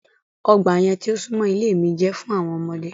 Ọgba yẹn ti o sunmọ ile mi jẹ fun awọn ọmọde